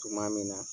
Tuma min na